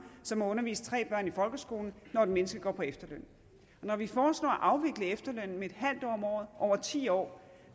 som at undervise tre børn i folkeskolen når et menneske går på efterløn når vi foreslår at afvikle efterlønnen med et halvt år om året over ti år